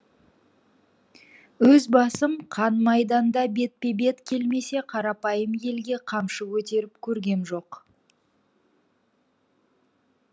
өз басым қан майданда бетпе бет келмесе қарапайым елге қамшы көтеріп көргем жоқ